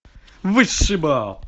высший бал